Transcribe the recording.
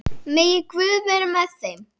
Megi Guð vera með þeim.